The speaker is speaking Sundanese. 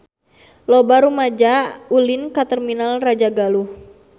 Loba rumaja ulin ka Terminal Rajagaluh